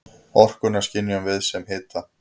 Orkuna skynjum við sem hita.